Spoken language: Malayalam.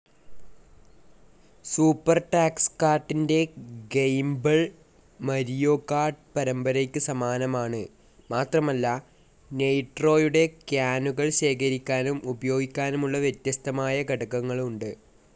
സൂപ്പർടാക്‌സ്‌കാർട്ടിൻ്റെ ഗെയിമ്പൾ, മരിയോ കാർട്ട്‌ പരമ്പരയ്ക്ക് സമാനമാണ്, മാത്രമല്ല നെയ്‌ട്രോയുടെ ക്യാനുകൾ ശേഖരിക്കാനും ഉപയോഗിക്കാനുമുള്ള വ്യത്യസ്തമായ ഘടകങ്ങളുണ്ട്.